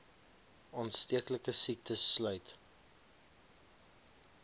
aansteeklike siektes sluit